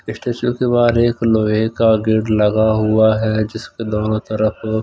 statue के बाहर एक लोहे का गेट लगा हुआ है जिसके दोनों तरफ--